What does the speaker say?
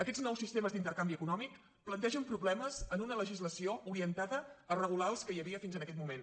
aquests nous sistemes d’intercanvi econòmic plantegen problemes en una legislació orientada a regular els que hi havia fins aquest moment